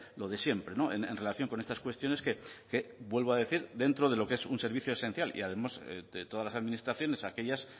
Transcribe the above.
lo de siempre en relación con estas cuestiones que vuelvo a decir dentro de lo que es un servicio esencial y además de todas las administraciones aquellas